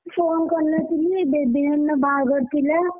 Phone କରି ନଥିଲି ବେବି ନାନୀଙ୍କ ବାହାଘର ଥିଲା।